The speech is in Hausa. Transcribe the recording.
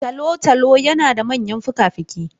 Tolotolo yana da manyan fukafuki.